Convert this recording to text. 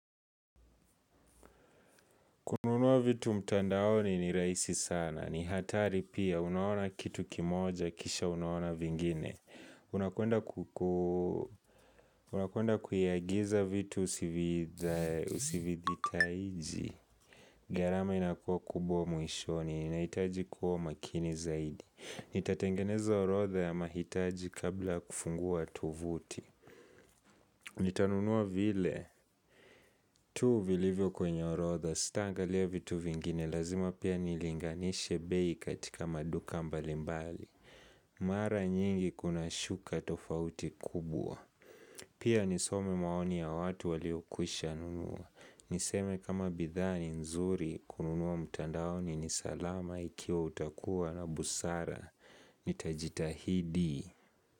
Kununua vitu mtandaoni ni rahisi sana, ni hatari pia, unaona kitu kimoja, kisha unaona vingine unakwenda Unakwenda kuiagiza vitu usividhita iji garama inakuwa kubwa mwishoni, inaitaji kuwa makini zaidi Nitatengeneza orodha ya mahitaji kabla kufungua tovuti Nitanunua vile tuu vilivyo kwenye orotha sitaanga lia vitu vingine lazima pia nilinganishe bei katika maduka mbalimbali Mara nyingi kuna shuka tofauti kubwa Pia nisome maoni ya watu wali okwisha nunua Niseme kama bidhaa ni nzuri kununua mtandaoni ni salama ikiwa utakuwa na busara Nitajitahidi.